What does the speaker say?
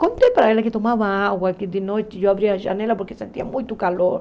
Contei para ela que tomava água, que de noite eu abria a janela porque sentia muito calor.